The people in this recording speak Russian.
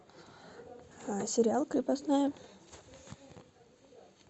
сериал крепостная